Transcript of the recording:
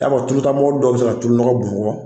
I b'a tuluta mɔbili dɔw bɛ se ka tulu nɔgɔ bɔn o kɔ